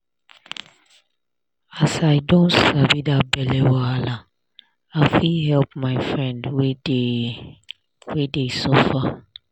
as i don sabi da belle wahala i fit help da my friend wey dey suffer